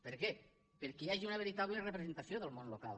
per què perquè hi hagi una veritable representació del món local